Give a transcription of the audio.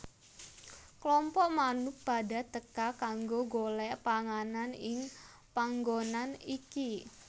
Klompok manuk padha teka kanggo golek panganan ing panggonan iki